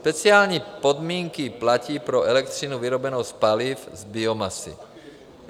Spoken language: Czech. Speciální podmínky platí pro elektřinu vyrobenou z paliv z biomasy.